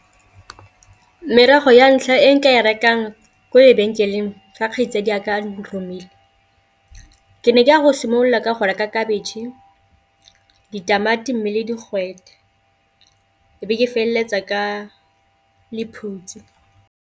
Merogo ya ntlha e nka e rekang ko lebenkeleng fa kgaitsadi a ka a nromile, ke ne ke ya go simolola ka go reka khabetšhe, ditamati, mme le digwete e be ke feleletsa ka lephutsi.